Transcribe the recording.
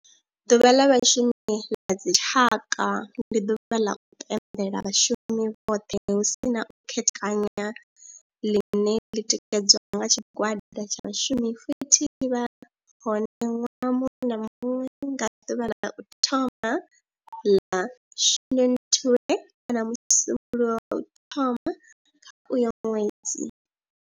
Ḓuvha ḽa Vhashumi ḽa dzi tshaka, ndi ḓuvha ḽa u pembela vhashumi vhothe hu si na u khethekanya line li tikedzwa nga tshigwada tsha vhashumi futhi li vha hone nwaha muṅwe na muṅwe nga ḓuvha ḽa u thoma 1 ḽa Shundunthule kana musumbulowo wa u thoma kha uyo ṅwedzi.